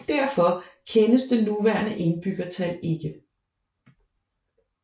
Derfor kendes det nuværende indbyggertal ikke